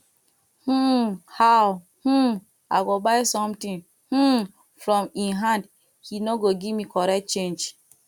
um how um i go buy something um from im hand he no go give me correct change